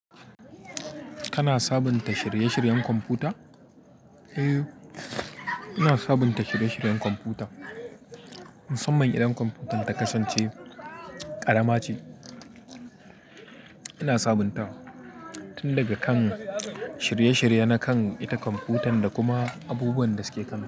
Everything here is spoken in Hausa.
Kana sabunta shirye-shiryen kwamfuta? Eh, ina sabunta shirye-shiryen kwamfuta. Musamman idan kwamfuyutan ta kasance ƙarama ce, ina sabuntawa tun daga kan shirye-shiryen na kan ita kwamfuyutan da kuma abubuwan da suke kanta.